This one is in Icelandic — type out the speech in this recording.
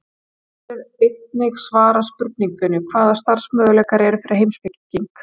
Hér er einnig svarað spurningunni: Hvaða starfsmöguleikar eru fyrir heimspeking?